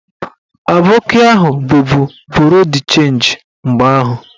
Aboki ahụ bubu buru d chenji mgbe ahụ